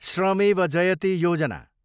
श्रमेव जयते योजना